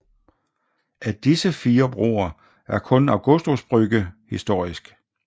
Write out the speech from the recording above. Af disse fire broer er kun Augustusbrücke historisk